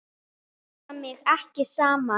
Ég hnipra mig ekki saman.